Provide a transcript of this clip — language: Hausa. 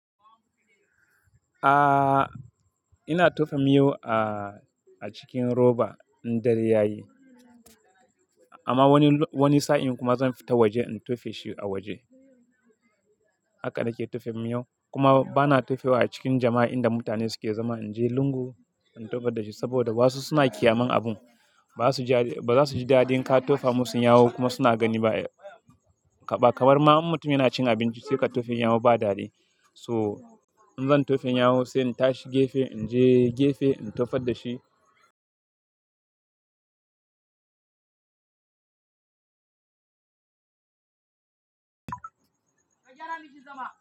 A'a, ina tofa miyau a cikin roba in dare ya yi. Amma wani, wani sa'in kuma zan fita waje in tofe shi a waje. Haka nake tofa miyau kuma bana tofe wa a cikin jama'a inda mutane suke zama. In je lungu in tofa da shi saboda wasu suna ƙyaman abun. Ba su ji da ba za su ji dadin ka tofa musu yawu kuma suna gani ba ai. Ba kamar ma in mutum yana cin abinci sai ka tofa yawu ba daɗi. So in zan tofa yawu sai in tashi gefe, in je gefe in tofar da shi.